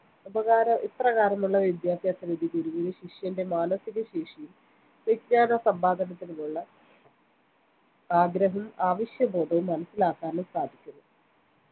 ഉപകാര ഇപ്രകാരമുള്ള വിദ്യാഭ്യാസരീതി ഗുരുവിന് ശിഷ്യന്റെ മാനസിക ശേഷിയും വിജ്ഞാനസമ്പാദനത്തിനുള്ള ആഗ്രഹവും അവശ്യ ബോധവും മനസ്സിലാക്കാനും സാധിക്കുന്നു